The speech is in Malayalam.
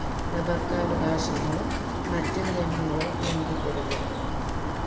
പകർപകവാശമോ മറ്റുനിയമങ്ങളോ ലംഗിക്കരുത്